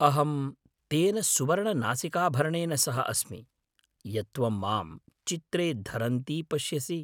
अहं तेन सुवर्णनासिकाभरणेन सह अस्मि, यत् त्वं मां चित्रे धरन्ती पश्यसि।